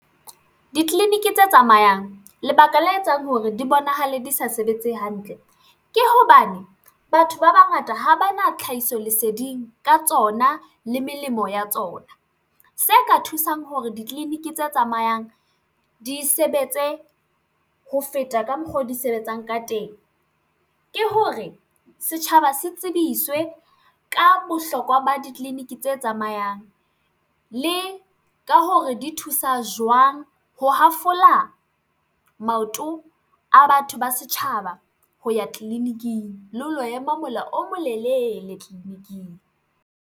Ditleliniki tse tsamayang lebaka la etsang hore di bonahale di sa sebetse hantle ke hobane batho ba bangata ha ba na tlhahiso leseding ka tsona le melemo ya tsona se ka thusang hore ditleliniki tse tsamayang di sebetse ho feta ka mokgwa oo di sebetsang ka teng ke hore setjhaba se tsebiswe ka bohlokwa ba ditleliniki tse tsamayang le ka hore di thusa jwang ho hafola maoto a batho ba setjhaba ho ya tleliniking le ho lo ema mola o molelele tleliniking.